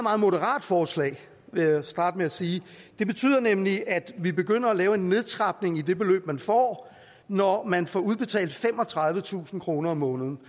moderat forslag vil jeg starte med at sige det betyder nemlig at vi begynder at lave en nedtrapning i det beløb man får når man får udbetalt femogtredivetusind kroner om måneden